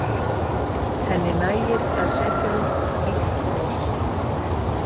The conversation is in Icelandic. Henni nægir að setja upp blítt bros.